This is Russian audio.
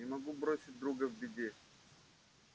не могу бросить друга в беде